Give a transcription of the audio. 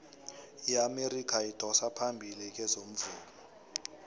iamerika idosa phambili kezomvumo